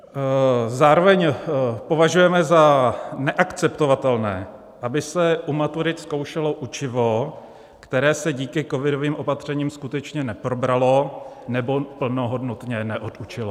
Zároveň považujeme za neakceptovatelné, aby se u maturit zkoušelo učivo, které se díky covidovým opatřením skutečně neprobralo nebo plnohodnotně neodučilo.